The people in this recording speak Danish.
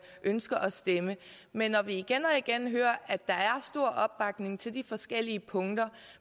ønsker at stemme men når vi igen og igen hører at der er stor opbakning til de forskellige punkter